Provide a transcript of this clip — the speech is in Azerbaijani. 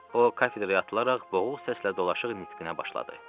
O, kafedraya atılaraq boğuq səslə dolaşıq nitqinə başladı.